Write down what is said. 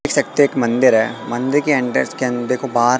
देख सकते हैं एक मंदिर है मंदिर के एंट्रेंस के अंदे को बाहर--